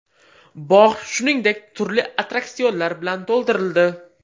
Bog‘ shuningdek, turli attraksionlar bilan to‘ldirildi.